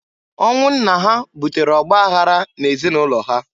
Ọnwụ nna ha butere ọgbaghara n'ezinaụlọ ha.